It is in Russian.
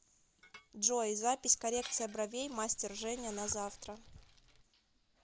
джой запись коррекция бровей мастер женя на завтра